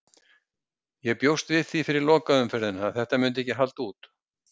Ég bjóst við því fyrir lokaumferðina að þetta myndi ekki halda út.